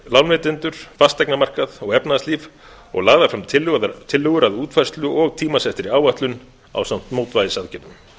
lánveitendur fasteignamarkað og efnahagslíf og lagðar fram tillögur að útfærslu og tímasettri áætlun ásamt mótvægisaðgerðum